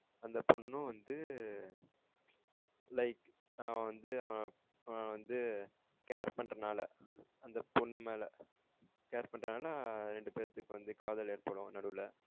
அந்த பொன்னும் வந்து like அவன் வந்து அப்புறம் வந்து care பண்றனால அந்த பொண்ணு மேல care பண்றதுனா ரெண்டு பேத்துக்கு வந்து காதல் ஏற்படும் நடுவுல